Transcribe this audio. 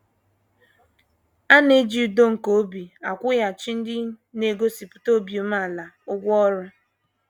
A na - eji udo nke obi akwụghachi ndị na - egosipụta obi umeala ụgwọ ọrụ.